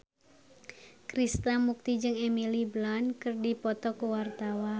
Krishna Mukti jeung Emily Blunt keur dipoto ku wartawan